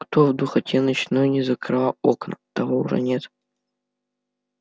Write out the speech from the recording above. кто в духоте ночной не закрывал окна того уже нет